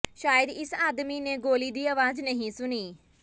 ਸ਼ਾਇਦ ਇਸ ਆਦਮੀ ਨੇ ਗੋਲੀ ਦੀ ਆਵਾਜ਼ ਨਹੀਂ ਸੁਣੀ